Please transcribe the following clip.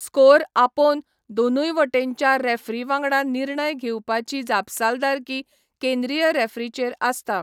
Score आपोवन दोनूय वटेनच्या रेफ्रीं वांगडा निर्णय घेवपाची जापसालदारकी केंद्रीय रेफ्रीचेर आसता.